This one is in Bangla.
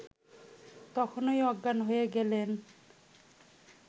তখনই অজ্ঞান হয়ে গেলেন